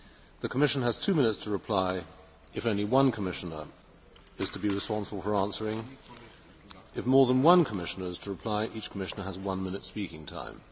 The Commission has two minutes to reply if only one Commissioner is to be responsible for answering. If more than one Commissioner is to reply, each Commissioner has one minute's speaking time.